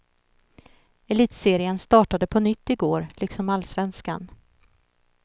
Elitserien startade på nytt i går, liksom allsvenskan.